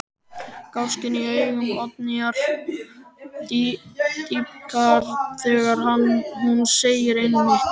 Gáskinn í augum Oddnýjar dýpkar þegar hún segir: Einmitt.